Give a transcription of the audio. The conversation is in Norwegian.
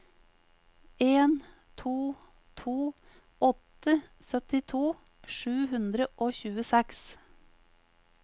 en to to åtte syttito sju hundre og tjueseks